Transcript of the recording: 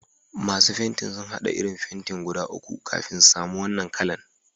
Masun fentin sun hada irin fenti guda uku kafin sun samu wanan kala'n.